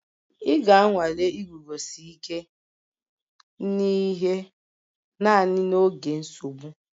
A ga-anwale iguzosi ike n'ihe naanị n'oge nsogbu